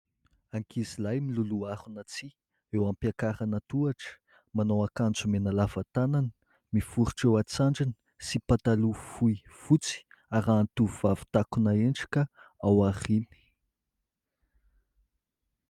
Ankizilahy miloloha harona tsihy eo am-piakarana tohatra, manao akanjo mena lava tanana miforotra eo an-tsandriny sy pataloha fohy fotsy, arahan'ny tovovavy takona endrika ao aoriany.